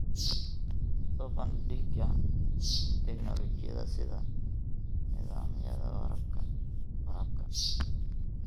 Soo bandhigida tignoolajiyada sida nidaamyada waraabka.